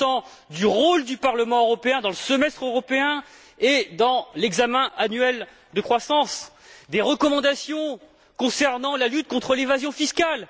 quant au rôle du Parlement européen dans le semestre européen et dans l'examen annuel de la croissance, des recommandations concernant la lutte contre l'évasion fiscale.